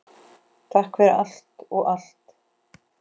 Takk fyrir allt og allt!